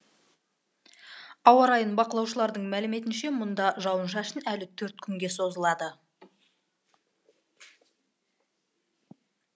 ауа райын бақылаушылардың мәліметінше мұнда жауын шашын әлі төрт күнге созылады